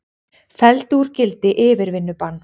Felldu úr gildi yfirvinnubann